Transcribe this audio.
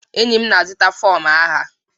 enyi m na-azụta fọm agha